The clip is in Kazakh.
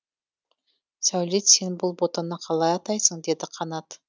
сәулет сен бұл ботаны қалай атайсың деді қанат